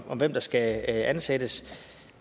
om hvem der skal ansættes